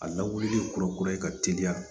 A lawulili kura kura ye ka teliya